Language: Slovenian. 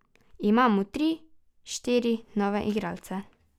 Imamo tri, štiri nove igralce.